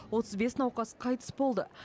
отыз бес науқас қайтыс болды